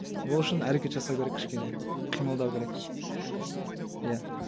ол үшін әрекет жасау керек кішкене қимылдау керек әркім өзі иә иә